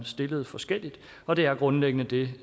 stillet forskelligt og det er grundlæggende det